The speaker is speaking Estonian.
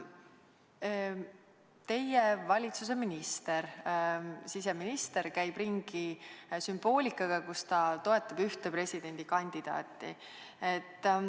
Teie valitsuse minister, siseminister, käib ringi sümboolikaga, millega ta toetab ühte presidendikandidaati.